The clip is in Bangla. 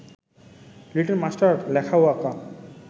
লিটল মাস্টার লেখা ও আঁকা